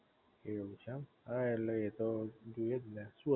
એવું છે એમ હા ઍટલે એ તો જોઈ એ જ ને